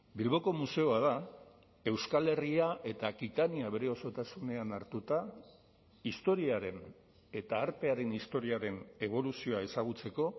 bilboko museo bat da euskal herria eta akitania bere osotasunean hartuta historiaren eta artearen historiaren eboluzioa ezagutzeko